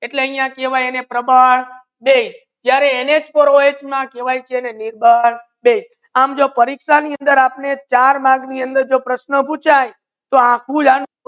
એટલા એને આહિયા કેહવાયે પ્રબળ બેઝ જ્યારે નઓહ નિર્બળ બેઝ કેહવાયે આમ તો પરિક્ષા ની અંદર ચાર ગુણ પૂછે